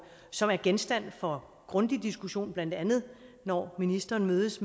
som er genstand for grundig diskussion blandt andet når ministeren mødes